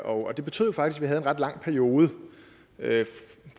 og det betød faktisk at vi havde ret lang periode